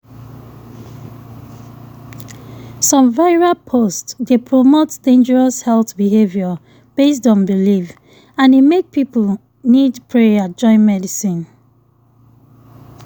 some viral post dey promote dangerous health behavior based on belief and e make people need prayer join medicine.